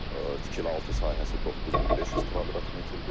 Tikili altı sahəsi 9500 kvadrat metrdir.